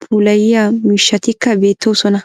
puulayiya miishshatikka beettoosona.